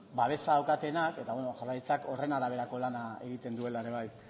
babesa dutenak eta beno jaurlaritzak horren araberako lana egiten duela ere bai